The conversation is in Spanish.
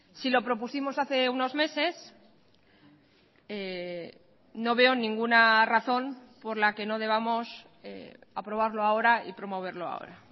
si lo propusimos hace unos meses no veo ninguna razón por la que no debamos aprobarlo ahora y promoverlo ahora